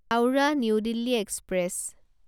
Howrah new Delhi express